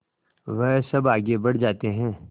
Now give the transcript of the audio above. वह सब आगे बढ़ जाते हैं